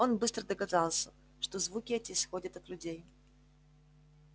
он быстро догадался что звуки эти исходят от людей